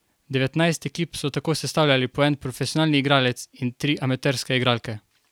Devetnajst ekip so tako sestavljali po en profesionalni igralec in tri amaterske igralke.